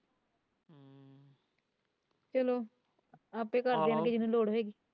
ਚੱਲੋ ਆਪੇ ਜਿਨੂੰ ਲੋੜ ਹੈਗੀ।